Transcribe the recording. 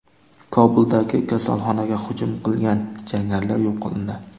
Kobuldagi kasalxonaga hujum qilgan jangarilar yo‘q qilindi.